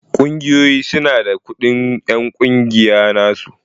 Ƙungiyoyi su na da kudin en ƙungiya na su.